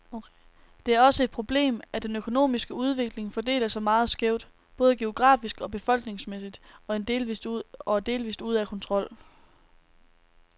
Det er også et problemet, at den økonomiske udvikling fordeler sig meget skævt, både geografisk og befolkningsmæssigt, og er delvist ude af kontrol.